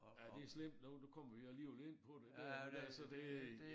Ja det slemt nu nu kommer vi alligevel ind på det det var altså det